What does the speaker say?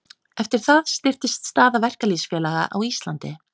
Eftir það styrktist staða verkalýðsfélaga á Íslandi.